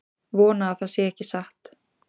Vona að það sé ekki satt